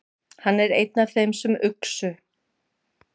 Hann er einn af þeim sem uxu.